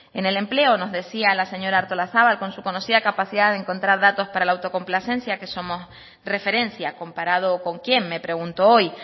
en el empleo nos decía la señora artolazabal con su conocida capacidad de encontrar datos para la autocomplacencia que somos referencia comparado con quién me pregunto hoy